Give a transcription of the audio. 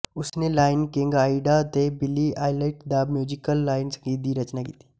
ਉਸਨੇ Lion King Aida ਅਤੇ Billy Elliot the Musical ਲਈ ਸੰਗੀਤ ਦੀ ਰਚਨਾ ਕੀਤੀ